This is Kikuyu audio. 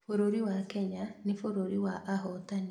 Bũrũri wa kenya nĩ bũrũri wa ahotani